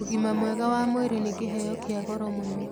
Ũgima mwega wa mwĩrĩ nĩ kĩheo kĩa goro mũno.